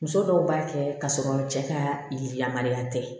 Muso dɔw b'a kɛ k'a sɔrɔ cɛ ka yiri lamalen tɛ